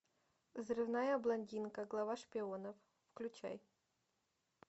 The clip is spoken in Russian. взрывная блондинка глава шпионов включай